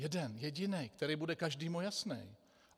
Jeden jediný, který bude každému jasný.